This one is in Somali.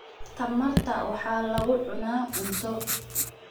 Tamarta waxaa lagu cunaa cunto.